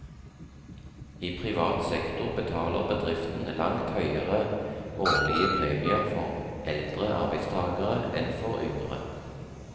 I privat sektor betaler bedriften langt høyere årlige premier for eldre arbeidstagere enn for yngre.